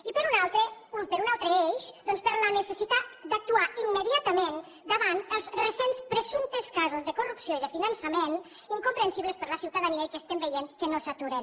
i per un altre per un altre eix doncs per la necessitat d’actuar immediatament davant els recents presumptes casos de corrupció i de finançament incomprensibles per a la ciutadania i que estem veient que no s’aturen